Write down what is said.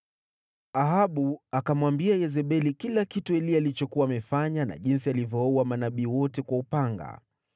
Ahabu akamwambia Yezebeli kila kitu Eliya alichokuwa amefanya na jinsi alivyowaua manabii wote kwa upanga.